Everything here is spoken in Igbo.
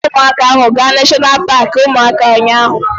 Anyị kpọrọ ụmụaka ahụ gaa neshọna paaki ụmụaka ụnyaahụ